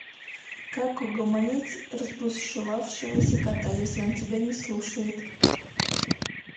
как угомонить разбушевавшегося кота если он тебя не слушает